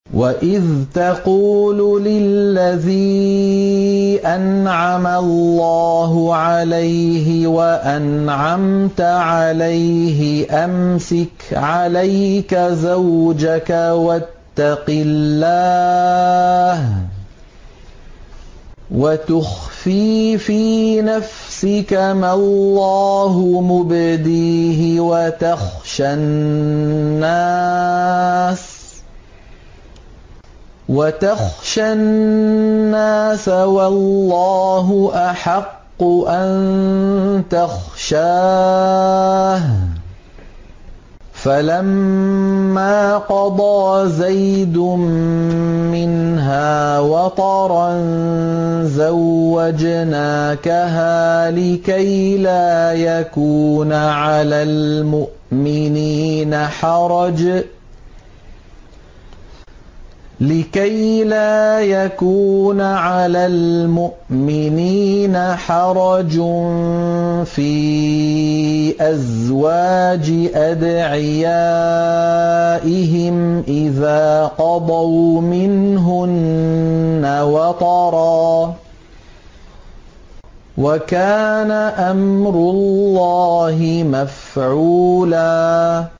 وَإِذْ تَقُولُ لِلَّذِي أَنْعَمَ اللَّهُ عَلَيْهِ وَأَنْعَمْتَ عَلَيْهِ أَمْسِكْ عَلَيْكَ زَوْجَكَ وَاتَّقِ اللَّهَ وَتُخْفِي فِي نَفْسِكَ مَا اللَّهُ مُبْدِيهِ وَتَخْشَى النَّاسَ وَاللَّهُ أَحَقُّ أَن تَخْشَاهُ ۖ فَلَمَّا قَضَىٰ زَيْدٌ مِّنْهَا وَطَرًا زَوَّجْنَاكَهَا لِكَيْ لَا يَكُونَ عَلَى الْمُؤْمِنِينَ حَرَجٌ فِي أَزْوَاجِ أَدْعِيَائِهِمْ إِذَا قَضَوْا مِنْهُنَّ وَطَرًا ۚ وَكَانَ أَمْرُ اللَّهِ مَفْعُولًا